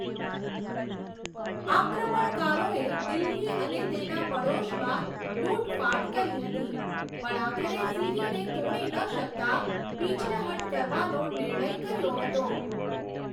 આક્રમણકારોએ દિલ્હી અને તેના પડોશમાં લૂંટફાટ કરી હતી પણ આખરે સિરીને તોડી ન શકતાં પીછેહઠ કરવાનો નિર્ણય કર્યો હતો.